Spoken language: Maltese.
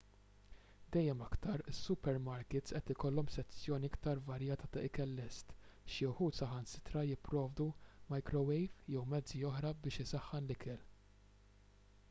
dejjem aktar is-supermarkits qed ikollhom sezzjoni aktar varjata ta' ikel lest xi wħud saħansitra jipprovdu majkrowejv jew mezzi oħra biex isaħħan l-ikel